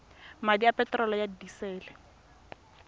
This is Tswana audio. madi a peterolo ya disele